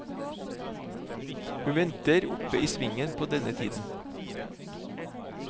Hun venter oppe i svingen på denne tiden.